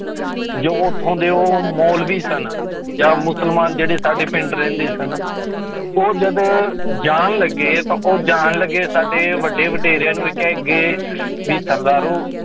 ਜੋ ਉੱਥੋਂ ਦੇ ਉਹ ਮੋਲਵੀ ਸਨ ਜਾਂ ਮੁਸਲਮਾਨ ਜਿਹੜੇ ਸਾਡੇ ਪਿੰਡ ਰਹਿੰਦੇ ਸਨ, ਉਹ ਜਦੋਂ ਜਾਣ ਲੱਗੇ ਤਾਂ ਉਹ ਜਾਣ ਲੱਗੇ ਸਾਡੇ ਵੱਡੇ ਵਡੇਰਿਆਂ ਨੂੰ ਇਹ ਕਹਿ ਕੇ ਗਏ ਵੀ ਸਰਦਾਰੋ